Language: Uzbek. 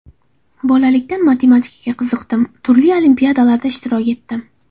Bolalikdan matematikaga qiziqdim, turli olimpiadalarda ishtirok etdim.